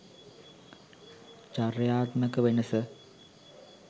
චර්යාත්මක වෙනස